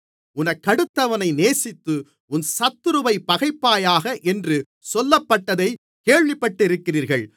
உனக்கடுத்தவனைச் நேசித்து உன் சத்துருவைப் பகைப்பாயாக என்று சொல்லப்பட்டதைக் கேள்விப்பட்டிருக்கிறீர்கள்